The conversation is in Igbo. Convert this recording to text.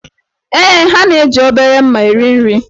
Ee, ha na-eji obere mma eri nri.